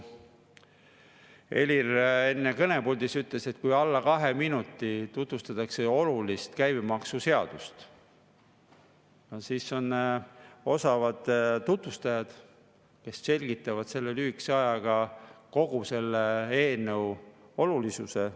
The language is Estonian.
Helir enne kõnepuldis ütles, et kui alla kahe minuti tutvustatakse olulist käibemaksuseadust, siis nad on osavad tutvustajad, kes selgitavad selle lühikese ajaga kogu selle eelnõu olulisuse.